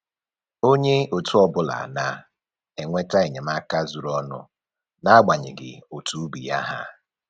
Onye otu ọbụla na-enweta enyemaka zuru ọnụ n'agbanyeghị otu ubi ya ha